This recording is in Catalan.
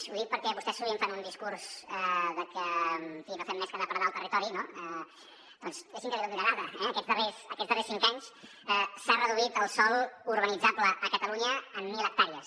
ho dic perquè vostès sovint fan un discurs que en fi no fem més que depredar el territori no doncs deixi’m que li doni una dada aquests darrers cinc anys s’ha reduït el sòl urbanitzable a catalunya en mil hectàrees